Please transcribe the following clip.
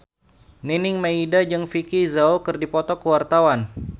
Nining Meida jeung Vicki Zao keur dipoto ku wartawan